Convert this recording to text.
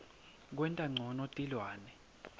kwenta ncono tilwane